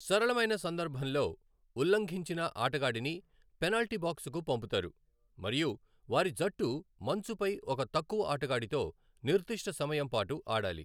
సరళమైన సందర్భంలో, ఉల్లంఘించిన ఆటగాడిని పెనాల్టీ బాక్సుకు పంపుతారు మరియు వారి జట్టు మంచుపై ఒక తక్కువ ఆటగాడితో నిర్దిష్ట సమయం పాటు ఆడాలి.